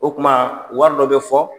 O tuma wari dɔ bɛ fɔ